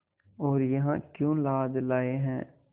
और यहाँ क्यों लाद लाए हैं